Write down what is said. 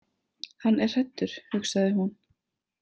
Hann er hræddur, hugsaði hún.